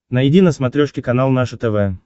найди на смотрешке канал наше тв